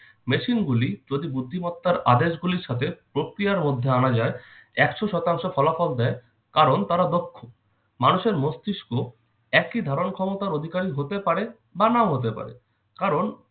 machine গুলি যদি বুদ্ধিমত্তার আদেশ গুলির সাথে প্রক্রিয়ার মধ্যে আনা যায় একশ শতাংশ ফলাফল দেয় কারণ তারা দক্ষ। মানুষের মস্তিষ্ক একই ধারণক্ষমতার অধিকারী হতে পারে বা নাও হতে পারে, কারণ-